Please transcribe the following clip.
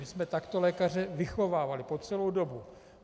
My jsme takto lékaře vychovávali po celou dobu.